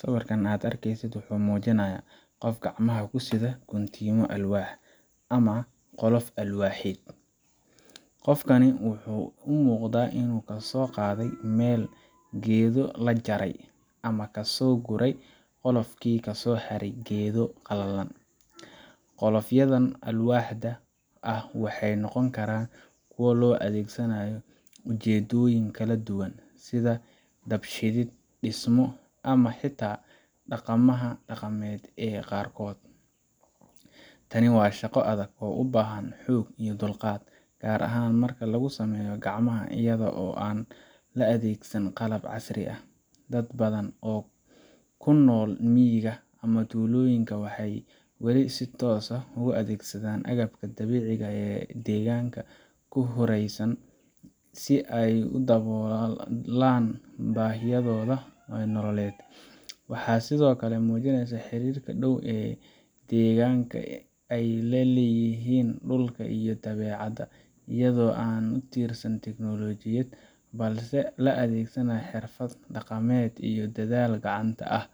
Sawirka aad arkaysid wuxuu muujinayaa qof gacmaha ku sida guntimo alwaax ah ama qolof alwaaxeed. Qofkani wuxuu u muuqdaa inuu kasoo qaaday meel geedo la jaray ama uu ka soo guray qolofkii kasoo haray geedo qallalan. Qolofyadan alwaaxda ah waxay noqon karaan kuwo loo adeegsanayo ujeeddooyin kala duwan, sida dab shidid, dhismo, ama xitaa dhaqamada dhaqameed ee qaarkood. Tani waa shaqo adag oo u baahan xoog iyo dulqaad, gaar ahaan marka lagu sameeyo gacmaha iyada oo aan la adeegsan qalab casri ah. Dad badan oo ku nool miyiga ama tuulooyinka waxay wali si toos ah u adeegsadaan agabka dabiiciga ah ee deegaanka ku hareeraysan, si ay u daboolaan baahiyahooda nololeed. Waxay sidoo kale muujinaysaa xiriirka dhow ee dadkeenna ay la leeyihiin dhulka iyo dabeecadda iyadoo aanan ku tiirsanayn tiknoolajiyad, balse la adeegsanayo xirfado dhaqameed iyo dadaal gacanta ah.